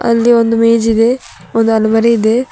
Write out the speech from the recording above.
ಇಲ್ಲಿ ಒಂದು ಮೇಜಿದೆ ಒಂದು ಆಲ್ಮರಿ ಇದೆ.